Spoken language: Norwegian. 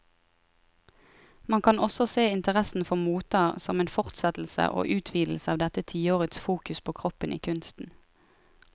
Man kan også se interessen for moter som en fortsettelse og utvidelse av dette tiårets fokus på kroppen i kunsten.